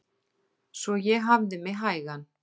Svo ég hafði mig hægan.